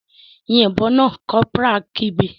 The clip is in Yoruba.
Yin ìbọn náà!, corporal kigbe.